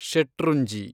Shetrunji